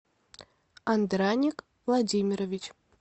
андраник владимирович